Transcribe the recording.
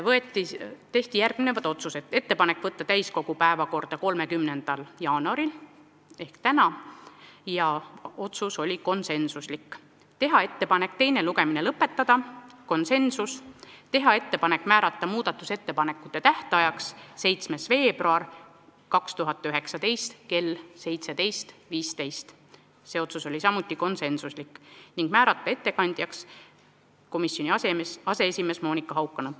Langetati järgmised otsused: teha ettepanek võtta eelnõu täiskogu päevakorda 30. jaanuariks ehk tänaseks , teha ettepanek teine lugemine lõpetada ja määrata muudatusettepanekute tähtajaks 7. veebruar 2019 kell 17.15 ning määrata ettekandjaks komisjoni aseesimees Monika Haukanõmm .